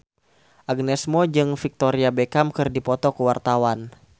Agnes Mo jeung Victoria Beckham keur dipoto ku wartawan